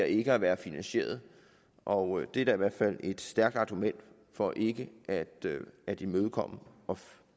ikke at være finansierede og det er da i hvert fald et stærkt argument for ikke at imødekomme og